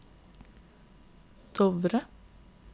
Dovre